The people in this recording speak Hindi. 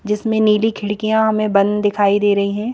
जिसमें नीली खिड़कीयां हमें बंद दिखाई दे रहीं हैं।